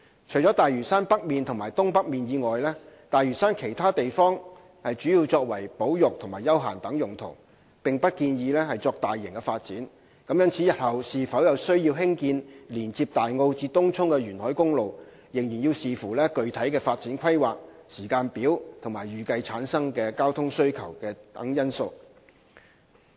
除了大嶼山北面及東北面以外，大嶼山其他地方主要作保育和休閒等用途，並不建議作大型發展，故日後是否有需要興建連接大澳至東涌的沿海公路，要視乎具體的發展規劃、時間表及預計產生的交通需求等因素。